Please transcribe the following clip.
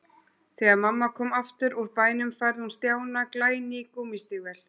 Þegar mamma kom aftur úr bænum færði hún Stjána glæný gúmmístígvél.